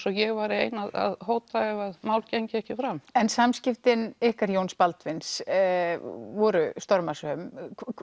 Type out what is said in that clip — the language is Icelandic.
og ég væri ein að hóta ef mál gengju ekki fram en samskiptin ykkar Jóns Baldvins voru stormasöm